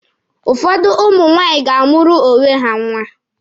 Ụfọdụ ụmụ nwaanyị ga-amụụrụ onwe ha nwa.